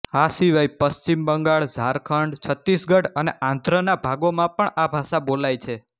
આ સિવાય પશ્ચિમ બંગાળ ઝારખંડ છત્તીસગઢ અને આંધ્રના ભાગોમાં પણ આ ભાષા બોલાય છે